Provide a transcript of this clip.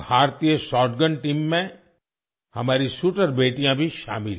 भारतीय shotgun team में हमारी शूटर बेटियाँ भी शामिल हैं